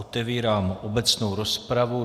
Otevírám obecnou rozpravu.